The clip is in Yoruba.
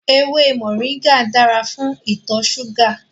Ewé moringa dára fún ìtọ̀ súgà